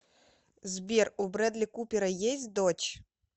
сбер у брэдли купера есть дочь